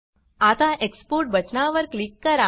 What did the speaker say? आता एक्सपोर्ट बटनावर क्लिक करा